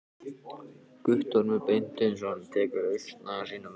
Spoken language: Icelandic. Guttormur Beinteinsson tekur ausuna í sína vörslu.